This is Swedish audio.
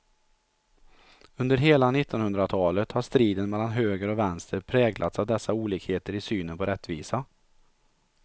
Under hela nittonhundratalet har striden mellan höger och vänster präglats av dessa olikheter i synen på rättvisa.